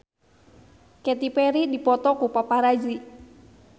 Katy Perry dipoto ku paparazi